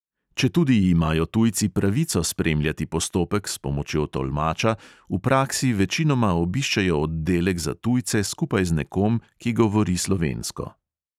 Četudi imajo tujci pravico spremljati postopek s pomočjo tolmača, v praksi večinoma obiščejo oddelek za tujce skupaj z nekom, ki govori slovensko.